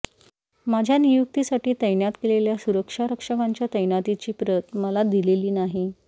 माझ्या नियुक्तीसाठी तैनात केलेल्या सुरक्षा रक्षकांच्या तैनातीची प्रत मला दिलेली नाही